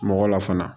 Mɔgɔ la fana